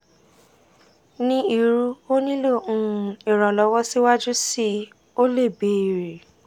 ni irú o nilo um iranlọwọ siwaju sii o le beere